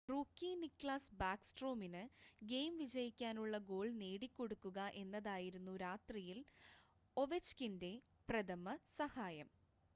rookie Niklas ബാക്ക്സ്ട്രോമിന് game വിജയിക്കാനുള്ള goal നേടിക്കൊടുക്കുക എന്നതായിരുന്നു രാത്രിയിൽ ഒവെച്ച്കിൻ്റെ പ്രഥമ സഹായം